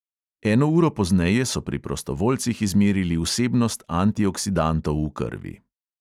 Eno uro pozneje so pri prostovoljcih izmerili vsebnost antioksidantov v krvi.